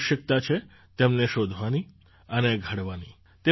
આવશ્યકતા છે તેમને શોધવાની અને ઘડવાની